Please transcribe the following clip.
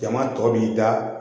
Jama tɔ b'i da